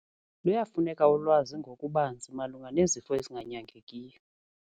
Luyafuneka ulwazi ngokubanzi malunga nezifo ezinganyangekiyo.